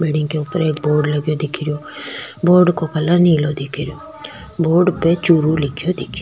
building के ऊपर एक बोर्ड लगो दिखे रो बोर्ड का कलर नीलो दिखे रो बोर्ड पे चूरू लिख्यो दिख --